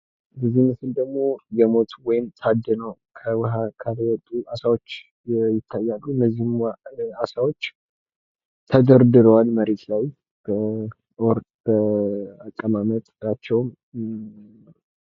ምስሉ የሚያሳየው ከባህር ታድነው የወጡ እና የሞቱ አሳወች መሬት ላይ ተደርድረው ነው